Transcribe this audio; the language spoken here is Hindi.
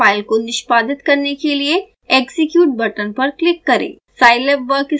मेन्यु बार पर फाइल को निष्पादित करने के लिए execute बटन पर क्लिक करें